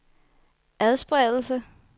adspredelse